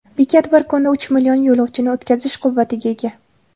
Bekat bir kunda uch million yo‘lovchini o‘tkazish quvvatiga ega.